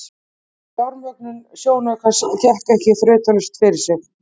Fjármögnun sjónaukans gekk ekki þrautalaust fyrir sig.